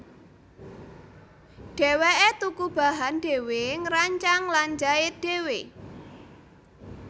Dheweke tuku bahan dhéwé ngrancang lan jait dhéwé